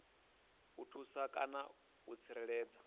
u thusa kana u tsireledza